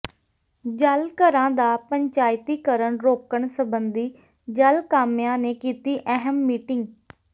ਜਲ ਘਰਾਂ ਦਾ ਪੰਚਾਇਤੀ ਕਰਨ ਰੋਕਣ ਸਬੰਧੀ ਜਲ ਕਾਮਿਆਂ ਨੇ ਕੀਤੀ ਅਹਿਮ ਮੀਟਿੰਗ